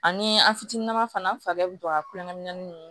Ani an fitininnama fana an fari bɛ don ka kulɛri min ninnu